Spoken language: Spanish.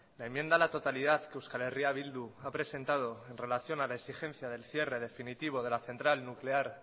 la enmienda a la totalidad que euskal herria bildu ha presentado en relación a la exigencia del cierre definitivo de la central nuclear